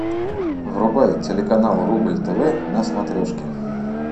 врубай телеканал рубль тв на смотрешке